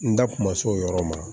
N da tun ma s'o yɔrɔ ma